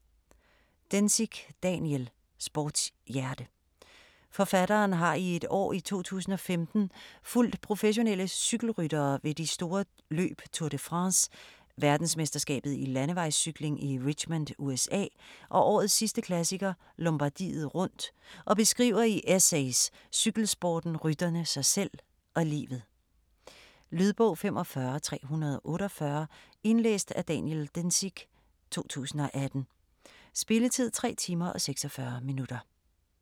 Dencik, Daniel: Sportshjerte Forfatteren har i et år i 2015 fulgt professionelle cykelryttere ved de store løb Tour de France, verdensmesterskabet i landevejscykling i Richmond USA, og årets sidste klassiker, Lombardiet rundt og beskriver i essays cykelsporten, rytterne, sig selv og livet. Lydbog 45348 Indlæst af Daniel Dencik, 2018. Spilletid: 3 timer, 46 minutter.